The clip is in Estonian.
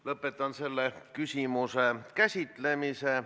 Lõpetan selle küsimuse käsitlemise.